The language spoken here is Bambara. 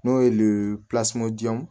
N'o ye len jɔn